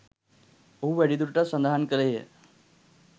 ඔහු වැඩිදුරටත් සඳහන් කළේය.